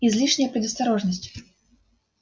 излишняя предосторожность